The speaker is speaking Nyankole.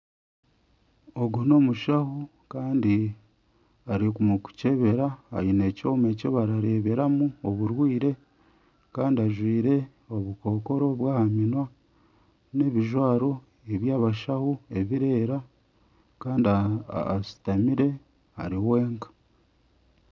Ogu n'omushaho Kandi ari mukukyebera. Aine ekyoma ekibarareberamu oburwire Kandi ajwire obukokoro bw'ahaminwa n'ebijwaro eby'abashaho ebirera kandi ashutamire ari wenka .